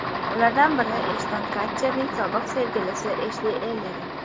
Ulardan biri Eshton Katcherning sobiq sevgilisi Eshli Ellerin.